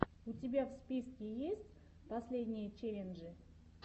у тебя в списке есть последние челленджи